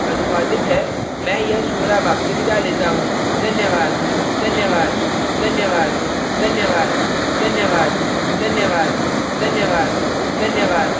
यह tutorial प्रभाकर द्वारा अनुवादित है मैं यश वोरा अब आपसे विदा लेता हूँ